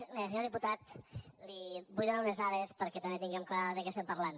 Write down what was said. senyor diputat li vull donar unes dades perquè també tinguem clar de què estem parlant